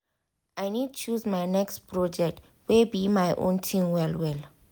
i need choose my next project wey be my own thing well well.